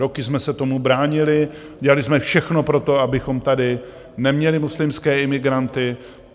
Roky jsme se tomu bránili, dělali jsme všechno pro to, abychom tady neměli muslimské imigranty.